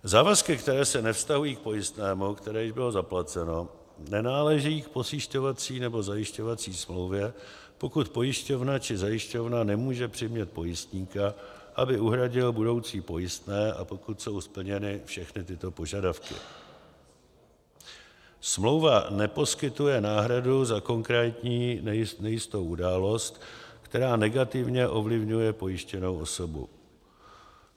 Závazky, které se nevztahují k pojistnému, které již bylo zaplaceno, nenáležejí k pojišťovací nebo zajišťovací smlouvě, pokud pojišťovna či zajišťovna nemůže přimět pojistníka, aby uhradil budoucí pojistné, a pokud jsou splněny všechny tyto požadavky: smlouva neposkytuje náhradu za konkrétní nejistou událost, která negativně ovlivňuje pojištěnou osobu;